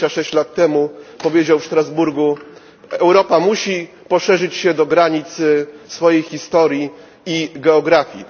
26 lat temu powiedział on w Strasburgu, że Europa musi poszerzyć się do granic swojej historii i geografii.